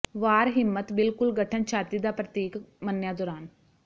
ਵਾਰ ਹਿੰਮਤ ਬਿਲਕੁਲ ਗਠਨ ਛਾਤੀ ਦਾ ਪ੍ਰਤੀਕ ਮੰਨਿਆ ਦੌਰਾਨ